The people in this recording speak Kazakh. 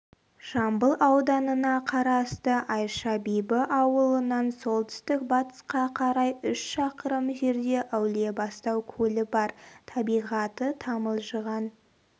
жамбыл ауданына қарасты айша бибі ауылынан солтүстік-батысқа қарай үш шақырым жерде әулиебастау көлі бар табиғаты тамылжыған